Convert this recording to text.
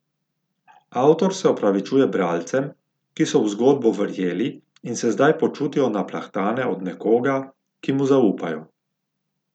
Avtor se opravičuje bralcem, ki so v zgodbo verjeli in se zdaj počutijo naplahtane od nekoga, ki mu zaupajo.